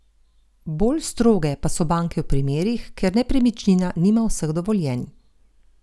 Bolj stroge pa so banke v primerih, kjer nepremičnina nima vseh dovoljenj.